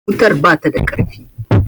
wutar bata da ƙarfi